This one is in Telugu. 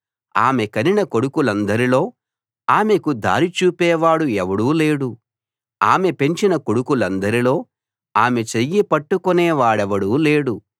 ఆమె కనిన కొడుకులందరిలో ఆమెకు దారి చూపేవాడు ఎవడూ లేడు ఆమె పెంచిన కొడుకులందరిలో ఆమె చెయ్యి పట్టుకునే వాడెవడూ లేడు